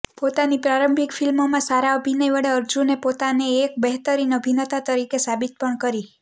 પોતાની પ્રારંભિક ફિલ્મોમાં સારા અભિનય વડે અર્જુને પોતાને એક બહેતરીન અભિનેતા તરીકે સાબિત પણ કરી